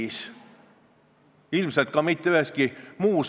Esineja, kas sa võiksid nüüd kohale minna ja lõpetada?!